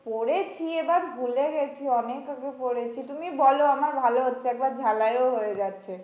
পড়েছি এবার ভুলে গেছি অনেক আগে পড়েছি তুমি বলো আমার ভালো হচ্ছে একবার ঝালাইও হয়ে যাচ্ছে।